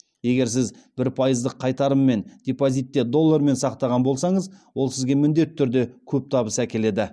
егер сіз бір пайыздық қайтарыммен депозитте доллармен сақтаған болсаңыз ол сізге міндетті түрде көп табыс әкеледі